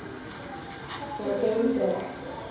Það gengur ekki vel.